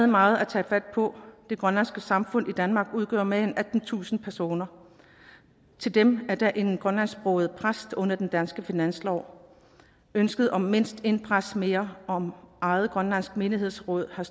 meget at tage fat på det grønlandske samfund i danmark udgør mere end attentusind personer til dem er der én grønlandsksproget præst under den danske finanslov ønsket om mindst én præst mere og om eget grønlandsk menighedsråd har